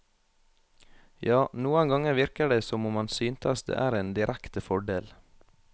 Ja, noen ganger virker det som om han synes det er en direkte fordel.